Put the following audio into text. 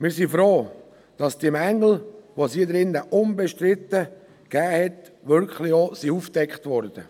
Wir sind froh, dass die Mängel, die es da unbestritten gab, wirklich auch aufgedeckt wurden.